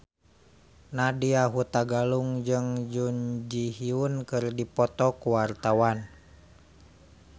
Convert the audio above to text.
Nadya Hutagalung jeung Jun Ji Hyun keur dipoto ku wartawan